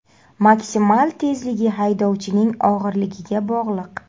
Maksimal tezligi haydovchining og‘irligiga bog‘liq.